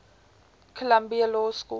columbia law school